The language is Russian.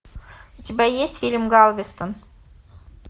у тебя есть фильм галвестон